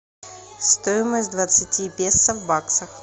стоимость двадцати песо в баксах